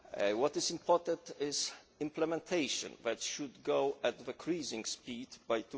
What is important is implementation. That should be at cruising speed